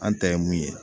An ta ye mun ye